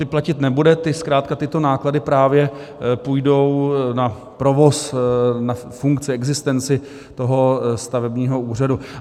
Ty platit nebude, zkrátka tyto náklady právě půjdou na provoz, na funkci, existenci toho stavebního úřadu.